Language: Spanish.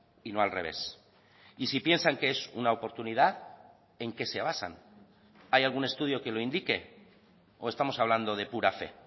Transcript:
y no al revés y si piensan que es una oportunidad en qué se basan hay algún estudio que lo indique o estamos hablando de pura fe